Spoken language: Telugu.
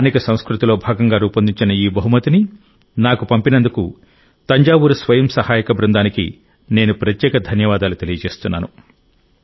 స్థానిక సంస్కృతిలో భాగంగా రూపొందించిన ఈ బహుమతిని నాకు పంపినందుకు తంజావూరు స్వయం సహాయక బృందానికి నేను ప్రత్యేక ధన్యవాదాలు తెలియజేస్తున్నాను